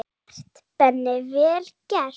Vel gert, Benni, vel gert.